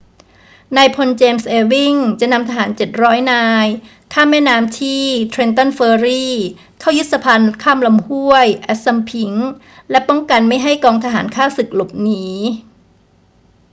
นายพล james ewing จะนำทหาร 700 นายข้ามแม่น้ำที่ trenton ferry เข้ายึดสะพานข้ามลำห้วย assunpink และป้องกันไม่ให้กองทหารข้าศึกหลบหนี